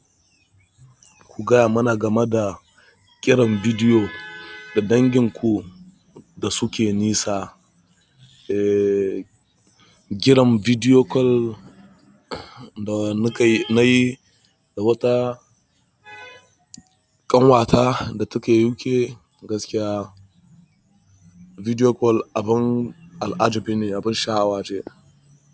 Ku gaya mana game da kiran bidiyo da danginku da suke nisa. Eh, kiran bidiyo call da na yi da wata ƙanwata da take UK gaskiya bidiyo call abun al'ajabi ne abun sha'awa ce.